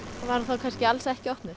kannski alls ekki opnuð